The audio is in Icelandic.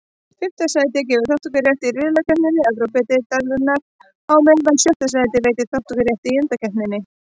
Fimmta sætið gefur þátttökurétt í riðlakeppni Evrópudeildarinnar, á meðan sjötta sætið veitir þátttökurétt í undankeppninni.